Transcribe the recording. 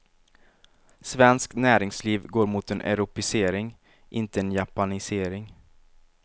Svenskt näringsliv går mot en europeisering, inte en japanisering.